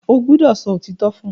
O gbódò so òtítọ fún!